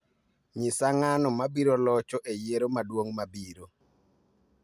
nyisa ng'ano mabiro locho e yiero maduong' mabiro